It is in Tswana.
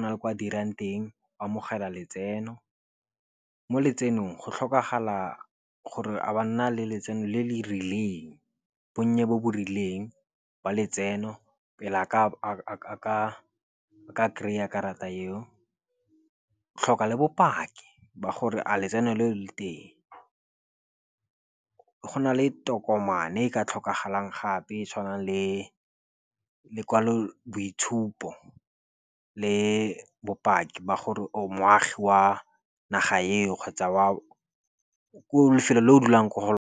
na le kwa dirang teng o amogela letseno mo letsenong go tlhokagala gore a ba nna le letseno le le rileng, bonnye bo bo rileng ba letseno pele a ka kry-a karata eo. Tlhoka le bopaki ba gore a letseno le le teng. Go na le tokomane e ka tlhokagalang gape e e tshwanang le lokwaloboitshupo le bopaki ba gore o moagi wa naga eo kgotsa wa lefelo le o dulang mo go .